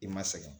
I ma sɛgɛn